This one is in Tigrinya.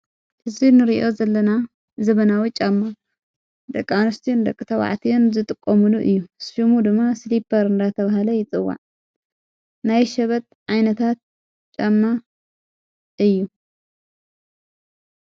እዙይ ንርእዮ ዘለና ዘበናዊ ጫማ ደቃንስቲዩን ደቂ ተዋዕትን ዘጥቆሙሉ እዩ ሽሙ ድማ ስሊጰር እንዳ ተብሃለ ይጽዋዕ ናይ ሸበት ዓይነታት ጫማ እዩ።